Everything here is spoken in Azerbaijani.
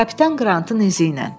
Kapitan Qrantın izi ilə.